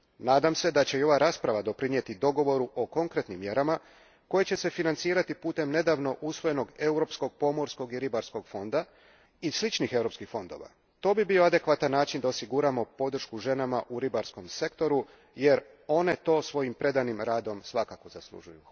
Nadam se da će i ova rasprava doprinijeti dogovoru o konkretnim mjerama koje će se financirati putem nedavno usvojenog Europskog pomorskog i ribarskog fonda i sličnih europskih fondova. To bi bio adekvatan način da osiguramo podršku ženama u ribarskom sektoru jer one to svojim predanim radom svakako zaslužuju.